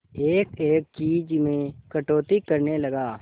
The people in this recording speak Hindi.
एक एक चीज में कटौती करने लगा